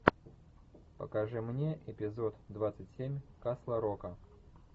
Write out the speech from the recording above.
покажи мне эпизод двадцать семь касл рока